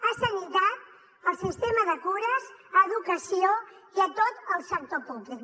a sanitat el sistema de cures a educació i a tot el sector públic